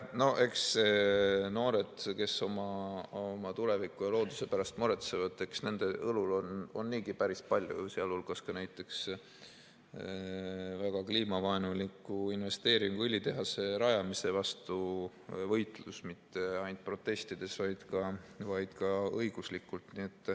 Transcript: No eks nende noorte õlul, kes oma tuleviku ja looduse pärast muretsevad, on niigi päris palju, sh näiteks võitlus väga kliimavaenuliku investeeringu, õlitehase rajamise vastu mitte ainult protestides, vaid ka õiguslikult.